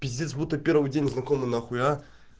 пиздец будто первый день знакомы нахуй а